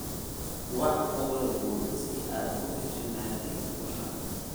wac uberpool si aad ii hesho naadi xoqan